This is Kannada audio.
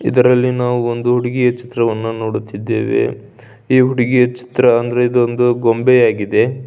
ಇದರಲ್ಲಿ ನಾವು ಒಂದು ಹುಡುಗಿಯ ಚಿತ್ರವನ್ನು ನೋಡುತ್ತಿದ್ದೇವೆ ಈ ಹುಡುಗಿಯ ಚಿತ್ರ ಒಂದು ಗೊಂಬೆಯಾಗಿದೆ.